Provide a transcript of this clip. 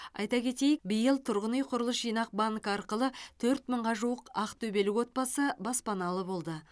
айта кетейік биыл тұрғын үй құрылыс жинақ банкі арқылы төрт мыңға жуық ақтөбелік отбасы баспаналы болды